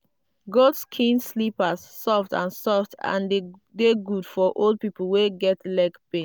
goat skin slippers soft and soft and dey good for old people wey get leg pain.